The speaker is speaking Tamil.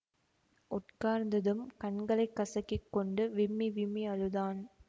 உட்கார்ந்ததும் கண்களை கசக்கி கொண்டு விம்மி விம்மி அழுதான்